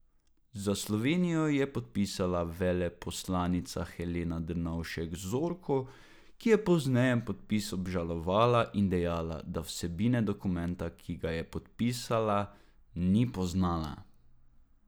Za Slovenijo jo je podpisala veleposlanica Helena Drnovšek Zorko, ki je pozneje podpis obžalovala in dejala, da vsebine dokumenta, ki ga je podpisala, ni poznala.